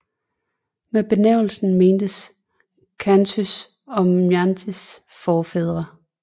Med benævnelsen mentes khantys og mansijs forfædre